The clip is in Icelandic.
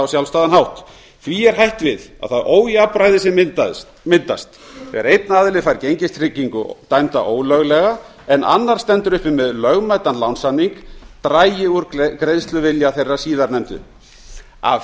sjálfstæðan hátt því er hætt við að það ójafnræði sem myndast þegar einn aðili fær gengistryggingu dæmda ólöglega en annar stendur uppi með lögmætan lánssamning dragi úr greiðsluvilja þeirra síðarnefndu af